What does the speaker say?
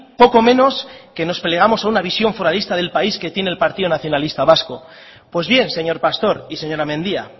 poco menos que nos plegamos a una visión foralista del país que tiene el partido nacionalista vasco pues bien señor pastor y señora mendia